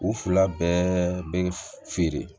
U fila bɛɛ bɛ feere